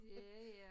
Ja ja